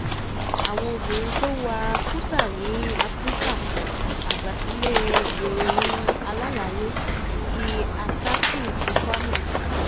àwọn obìnrin tó ń wa kùsà ní áfíríkà àgbàsílẹ̀ ìròyìn alálàyé tí aissatou fòfana ṣe